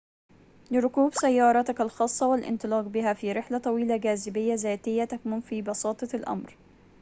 لركوب سيارتك الخاصة والانطلاق بها في رحلة طويلة جاذبية ذاتية تكمن في بساطة الأمر